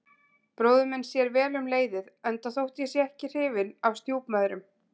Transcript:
Bróðir minn sér vel um leiðið, enda þótt ég sé ekki hrifinn af stjúpmæðrum.